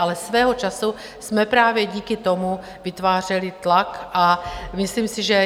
Ale svého času jsme právě díky tomu vytvářeli tlak a myslím si, že...